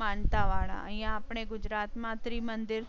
માનતા વાળા અહિયાં આપણે ગુજરાતમાં ત્રિમંદિર,